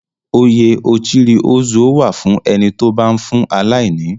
Oyè Ochiri Ozuo wà fún ẹni tó bá ń fún aláìní.